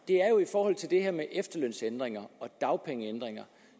det er her med efterlønsændringer og dagpengeændringer